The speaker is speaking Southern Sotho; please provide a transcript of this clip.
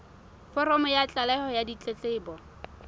foromo ya tlaleho ya ditletlebo